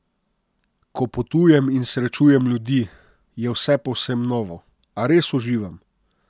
Ko potujem in srečujem ljudi, je vse povsem novo, a res uživam.